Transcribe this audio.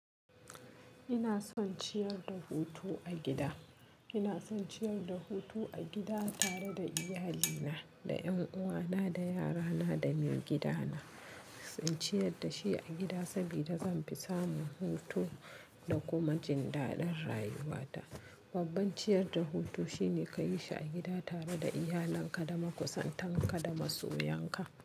Ina son ciyar da hutu a gida. Ina son ciyar da hutu a gida tare da iyalina, da ƴanuwana, da yarana, da maigidana. In ciyar da shi a gida saboda zan fi samu hutu da kuma jin daɗin rayuwata. Babban ciyar da hutu shine ka yi shi a gida tare da iyalenka, da makusantan ka da masoya ka.